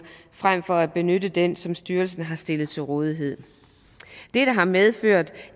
frem for at benytte den som styrelsen har stillet til rådighed dette har medført